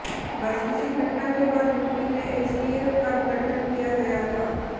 बस इसी घटना के बाद यूपी में एसटीएफ का गठन किया गया था